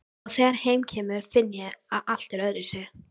Og þegar heim kemur finn ég að allt er öðruvísi.